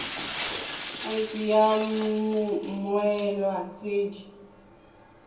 id ya mmoelwa tse di